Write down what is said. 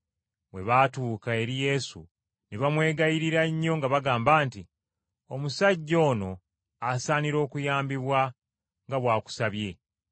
Bwe baatuuka eri Yesu ne bamwegayirira nnyo nga bagamba nti, “Omusajja ono asaanira okuyambibwa nga bw’akusabye,